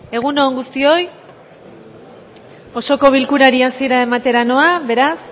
egun on guztioi osoko bilkurari hasiera ematera noa beraz